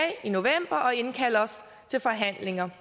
i november og indkalde os til forhandlinger